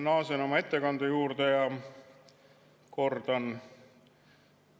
Ma naasen oma ettekande juurde ja kordan.